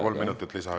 Kolm minutit juurde jah.